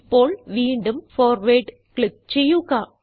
ഇപ്പോൾ വീണ്ടും forward click ചെയ്യുക